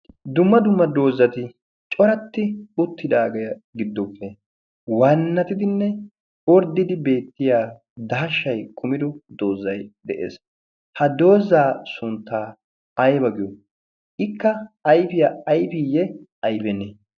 dumma dumma doozzati coratti uttidaagaa giddoppe waannatidinne orddidi beettiya daashshay kumido doozzay de'ees ha doozzaa sunttaa ayba giyo ikka ayfiyaa ayfiiyye ayfennee